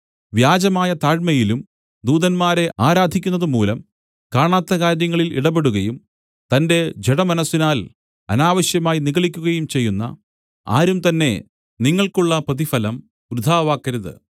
വ്യാജമായ താഴ്മയിലും ദൂതന്മാരെ ആരാധിക്കുന്നതുമൂലം കാണാത്ത കാര്യങ്ങളിൽ ഇടപെടുകയും തന്റെ ജഡമനസ്സിനാൽ അനാവശ്യമായി നിഗളിക്കുകയും ചെയ്യുന്ന ആരുംതന്നെ നിങ്ങൾക്കുള്ള പ്രതിഫലം വൃഥാവാക്കരുത്